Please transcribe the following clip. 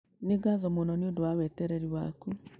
Nĩ ngatho mũno nĩ ũndũ wa wetereri waku.